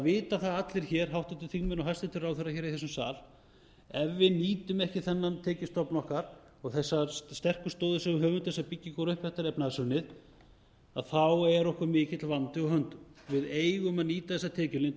vita það allir hér háttvirtir þingmenn og hæstvirtir ráðherrar hér í þessum sal að ef við nýtum ekki þennan tekjustofn okkar og þessar sterku stoðir sem við höfum til þess að byggja okkur upp eftir efnahagshrunið er okkur mikill vandi á höndum við eigum að nýta þessa tekjulind